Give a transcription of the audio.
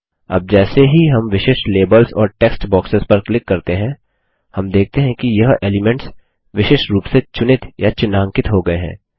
अब जैसे ही हम विशिष्ट लेबल्स और टेक्स्ट बॉक्सेस पर क्लिक करते हैं हम देखते हैं कि यह एलीमेंट्स विशिष्ट रूप से चुनित या चिह्नांकित हो गये हैं